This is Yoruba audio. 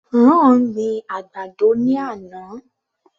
Ron gbin àgbàdo ní àná.